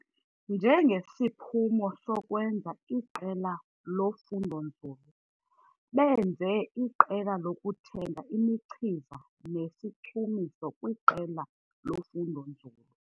Njengesiphumo sokwenza iqela lofundo-nzulu, benze iqela lokuthenga imichiza nesichumiso kwiqela lofundo-nzulu.